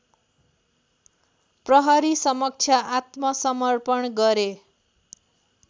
प्रहरीसमक्ष आत्मसमर्पण गरे